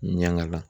Ɲɛn'a la